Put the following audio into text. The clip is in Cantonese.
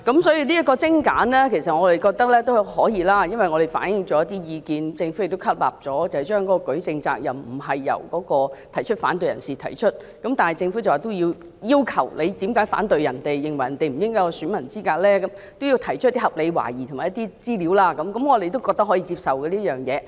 所以，精簡機制我們認為可以接受，因為政府亦吸納了我們提出的一些意見，指明舉證責任並非由反對者承擔，但要求反對者指稱他人不合乎選民資格時，須提出合理懷疑和資料，我們認為這個要求可以接受。